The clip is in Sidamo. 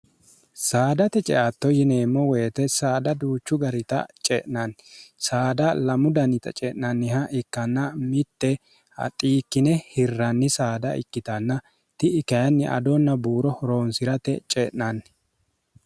saadate ceatto yineemmo woyite saada duuchu garita ce'nanni saada lamu danita ce'nanniha ikkanna mitte axiikkine hirranni saada ikkitanna ti iknni adonna buuro roonsi'rate ce'nanni